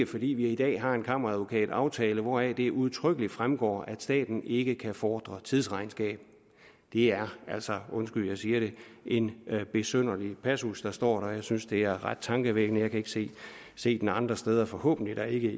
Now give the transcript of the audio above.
fordi vi i dag har en kammeradvokataftale hvoraf det udtrykkeligt fremgår at staten ikke kan fordre tidsregnskab det er altså undskyld jeg siger det en besynderlig passus der står og jeg synes det er ret tankevækkende jeg kan ikke se se den andre steder forhåbentlig da ikke